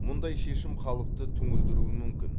мұндай шешім халықты түңілдіруі мүмкін